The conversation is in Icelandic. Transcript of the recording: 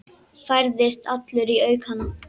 Færðist allur í aukana.